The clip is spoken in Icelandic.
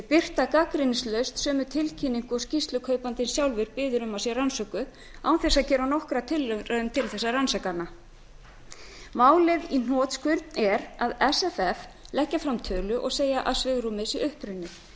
birta gagnrýnislaust sömu tilkynningu og skýrslukaupandinn sjálfur biður um að sé rannsökuð án þess að gera nokkra tilraun til að rannsaka hana málið í hnotskurn er að sff leggja fram tölu og segja að svigrúmið sé uppurið